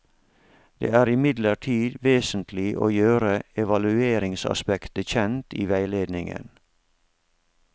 Det er imidlertid vesentlig å gjøre evalueringsaspektet kjent i veiledningen.